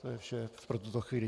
To je vše pro tuto chvíli.